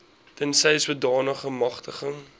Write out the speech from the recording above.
tensy sodanige magtiging